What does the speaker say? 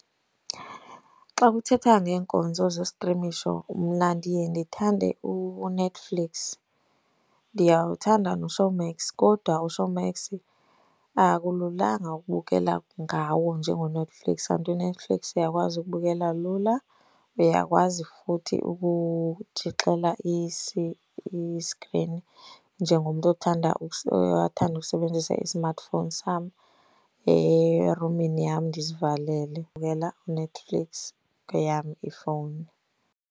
Xa kuthethwa ngeenkonzo zostrimisho mna ndiye ndithande uNetflix. Ndiyawuthanda noShowmax kodwa uShowmax akululanga ukubukela ngawo njengoNetflix. Kanti uNetflix uyakwazi ukubukela lula, uyakwazi futhi ukutshixela iskrini njengomntu othanda othanda ukusebenzisa i-smartphone sam erumini yam ndizivalele. Ndibukela uNetflix kweyam ifowuni.